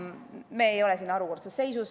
Me ei ole siin harukordses seisus.